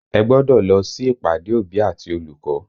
Ẹ gbọ́dọ̀ lọ sí ìpàdé òbí àti olùkọ́!